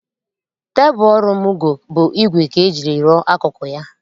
Tebụl ọrụ Mugo bụ ígwè ka eji rụọ akụkụ ya